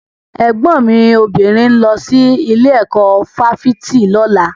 Ẹ̀gbọ́n mi obìnrin ń lọ sí ilé ẹ̀kọ́ fáfitì lọ́la.